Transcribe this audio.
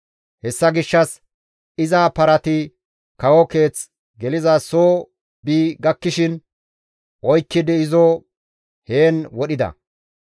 Hessa gishshas iza parati kawo keeth geliza soo bi gakkishin oykkidi izo heen wodhida.